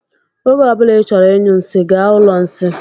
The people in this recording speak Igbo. Oge ọbula I chọrọ ịnyụ nsị, gaa ụlọ nsị.